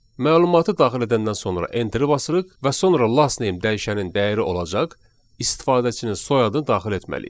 Məlumatı daxil edəndən sonra enteri basırıq və sonra last name dəyişənin dəyəri olacaq istifadəçinin soyadını daxil etməliyik.